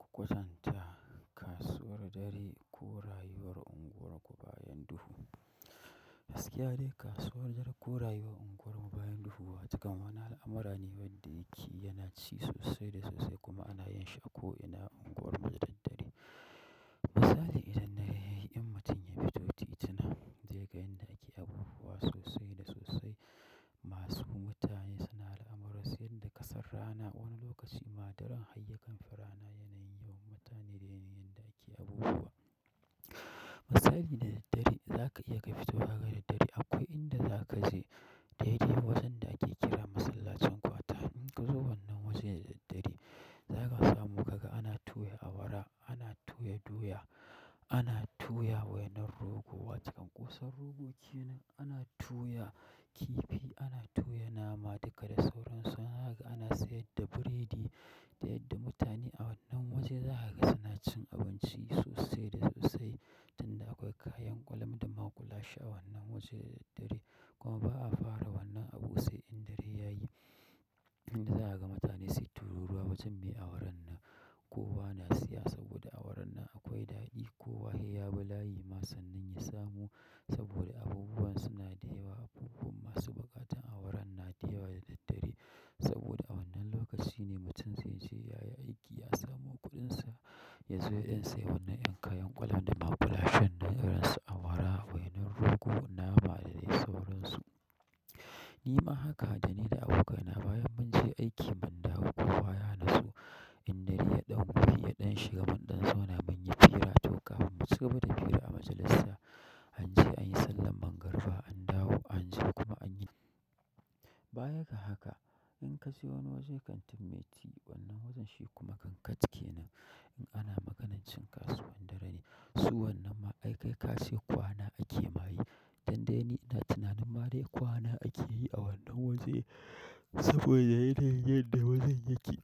Ku kwatanta kasuwar dare ko rayuwar unguwar ku bayan duhu. Gaskiya dai kasuwar dare ko rayuwar unguwarmu bayan duhu wa cikin wani al'amura ne wadda yake yana ci sosai da sosai kuma ana yin shi a ko ina unguwar mu da daddare. Misali idan dare ya yi, in mutum ya fito titina zai ga inda ake abubuwa sosai da sosai masu. Mutane suna al'amuran su yanda ƙasan rana, wani lokaci ma daren har ya kanfi rana yanayin yawan mutane da yanayin yanda ake yin abubuwa misali na daddare, za ka iya ka fito zagayen dare akwai inda za ka je daidai wajen da ake kira masallacin kwata. In ka zo wannan wajen da daddare, za ka samu ka ga ana tuya awara, ana tuya doya, ana tuya wainar rogo wato ƙoson rogo kenan, ana tuya kifi, ana tuya nama duka da sauransu. Haka ana sayar da biredi da yadda mutane a wannan waje za ka ga suna cin abinci sosai da sosai tunda akwai kayan kwalam da maƙulashe a wannan waje da daddare. Kuma ba'a fara wannan abu sai in dare ya yi. Inda za a ga mutane sai tururuwa wajen me awaran nan. Kowa na siya saboda awaran nan akwai daɗi ko wa he ya bi layi ma sannan ya samu saboda abubuwan suna da yawa. Abubuwan masu buƙatan awaran na da yawa da daddare saboda a wannan lokaci ne mutum zai je ya yi aiki ya samo kuɗinsa, ya zo ƴan siya wannan ƴan kayan kwalam da maƙulashen nan irin su awara, wainar rogo, nama da dai sauransu. Ni ma haka, dani da abokaina, bayan mun je aiki mun dawo kowa ya natsu, in dare ya ɗan rufe, ya ɗan shiga, mun ɗan zauna munyi hira, to kafin mu ci gaba da fira a majalisa an je an yi sallan mangariba an dawo an je kuma an yi. Bayan ga haka, in ka je wani wajen kantin me ti, wannan wajen shi kuma kankant kenan. In ana maganar cin kasuwar dare ne. Su wannan ma aikai ka ce kwana ake ma yi, dun da ni ina tunanin ma dai kwana ake yi a wannan wajen saboda yanayin yadda wajen yake.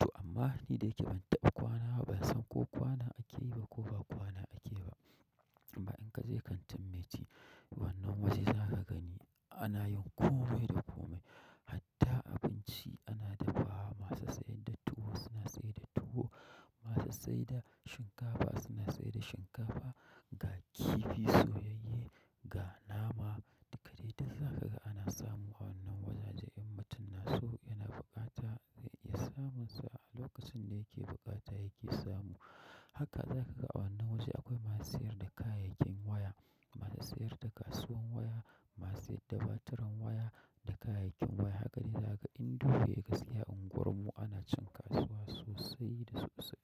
To amma ni da yake ban taɓa kwana ba, ban san ko kwana ake yi ba ko ba kwana ake ba. Amma in ka je kantin me ti, wannan waje za ka gani ana yin komai da komai. Hatta abinci ana dafawa masu sayar da tuwo suna sayar da tuwo, masu sayar da shinkafa suna sayar da shinkafa, ga kifi soyayye, ga nama duka dai duk za ka ga ana samu a wannan wajake in mutum na so yana buƙata zai iya samunsa a lokacin da yake buƙata yake samu. Haka za ka ga a wannan waje akwai masu sayar da kayayyakin waya, masu sayar da kasuwan waya, masu sayar da baturan waya da kayayyakin waya. Haka ne za ka inda kuka siya a unguwarmu ana cin kasuwa sosai da sosai.